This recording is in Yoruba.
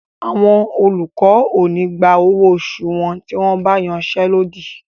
Àwọn olùkọ́ ò ní gba owó oṣù wọn tí wọ́n ba iṣé lódì.